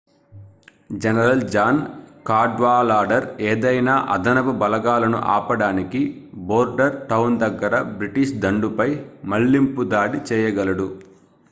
general John Cadwalader ఏదైనా అదనపు బలాలను ఆపడానికి బోర్డర్టౌన్ దగ్గర బ్రిటిష్ దండుపై మళ్లింపు దాడి చేయగలడు